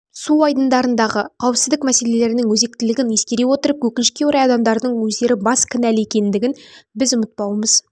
су айдындарындағы қауіпсіздік мәселелерінің өзектілігін ескере отырып өкінішке орай адамдардың өздері бас кінәлі екендігін біз ұмытпаумыз